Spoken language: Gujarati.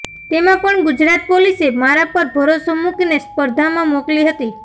તેમાં પણ ગુજરાત પોલીસે મારા પર ભરોસો મૂકીને સ્પર્ધામાં મોકલી હતી